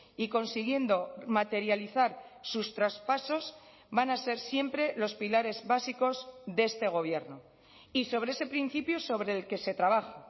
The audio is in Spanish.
y consiguiendo materializar sus traspasos van a ser siempre los pilares básicos de este gobierno y sobre ese principio sobre el que se trabaja